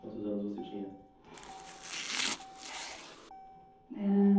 Quantos anos você tinha? Ãh